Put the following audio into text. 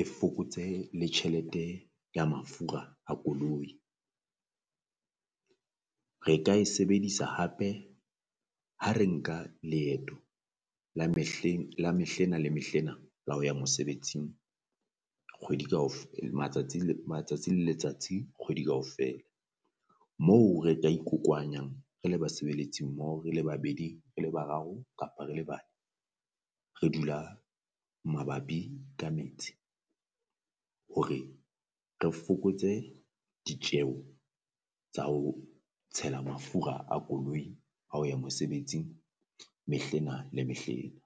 e fokotsehe le tjhelete ya mafura a koloi. Re ka e sebedisa hape ha re nka leeto la mehleng la mehle ena le mehle ena la ho ya mosebetsing kgwedi matsatsi matsatsi le letsatsi kgwedi kaofela. Moo re ka ikokohwanya re le basebeletsi mmoho re le babedi re le bararo kapa re le bane re dula mabapi ka metse, hore re fokotse ditjeho tsa ho tshela mafura a koloi ha o ya mosebetsing mehle ena le mehle ena.